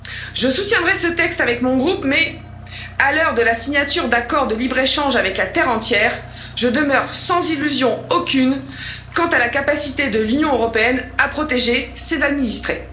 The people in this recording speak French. Je soutiendrai ce texte avec mon groupe mais, à l'heure de la signature d'accords de libre échange avec la terre entière, je demeure sans illusion aucune quant à la capacité de l'Union européenne à protéger ses administrés.